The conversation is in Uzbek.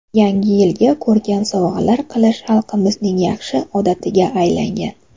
Yangi yilga ko‘rkam sovg‘alar qilish xalqimizning yaxshi odatiga aylangan.